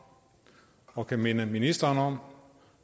og kan minde ministeren om